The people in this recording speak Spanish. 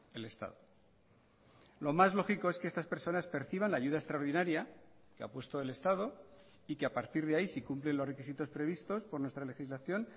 el estado lo más lógico es que estas personas perciban la ayuda extraordinaria que ha puesto el estado y que a partir de ahí si cumplen los requisitos previstos por nuestra legislación